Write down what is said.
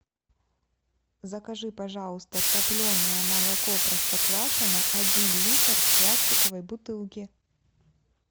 закажи пожалуйста топленое молоко простоквашино один литр в пластиковой бутылке